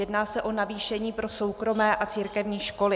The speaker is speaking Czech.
Jedná se o navýšení pro soukromé a církevní školy.